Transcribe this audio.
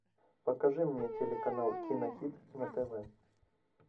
покажи мне телеканал кинохит на тв